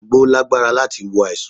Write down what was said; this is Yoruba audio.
Àgbo lágbára láti wo àìsàn